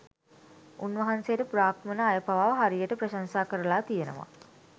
උන්වහන්සේට බ්‍රාහ්මණ අය පවා හරියට ප්‍රශංසා කරලා තියෙනවා